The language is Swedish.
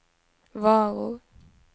varor